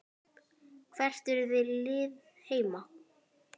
Hvert er þitt lið heima?